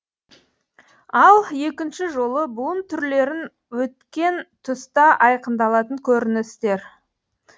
ал екінші жолы буын түрлерін өткен тұста айқындалатын көріністер